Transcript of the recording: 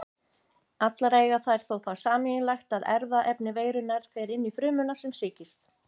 Allar eiga þær þó það sameiginlegt að erfðaefni veirunnar fer inn frumuna sem sýkist.